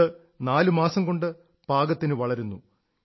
ഇത് നാലുമാസം കൊണ്ട് പാകത്തിനു വളരുന്നു